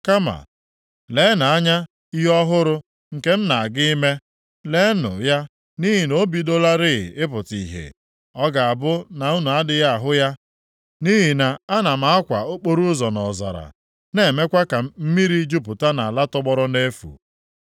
Kama leenụ anya ihe ọhụrụ nke m na-aga ime. Leenụ ya nʼihi na o bidolarị ịpụta ihe. Ọ ga-abụ na unu adịghị ahụ ya? Nʼihi na ana m akwa okporoụzọ nʼọzara, na-emekwa ka mmiri jupụta nʼala tọgbọrọ nʼefu.